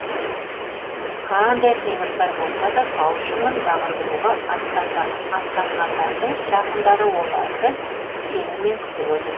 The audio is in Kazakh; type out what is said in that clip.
қандай қиындықтар болса да тау шыңын бағындыруға аттанғандардың жақындары оларды сеніммен күтіп отыр